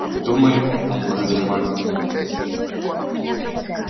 думаю он подозревает меня